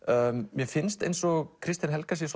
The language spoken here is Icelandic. mér finnst eins og Kristín Helga sé